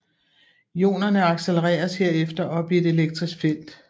Ionerne accelereres herefter op i et elektrisk felt